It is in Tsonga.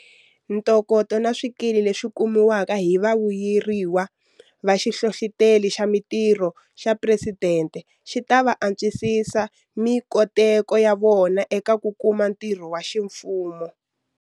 Ntokoto na swikili leswi kumiwaka hi vavuyeriwa va Xihlohloteri xa Mitirho xa Phuresidente xi ta va antswisisa mikoteko ya vona eka ku kuma ntirho wa ximfumo.